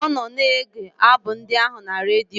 Ọ nọ na-ege abụ ndị ahụ na redio.